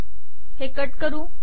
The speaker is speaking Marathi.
हे कट करू